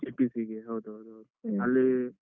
PPC ಗೆ ಹೌದು ಹೌದು ಹೌದು